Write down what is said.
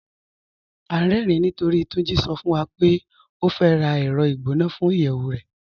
À n rẹ̀rìn nítorí Túnjí sọ̀ fún wa pé ó fẹ́ rá ẹrọ̀ igbọnà fún iyẹwu rẹ̀.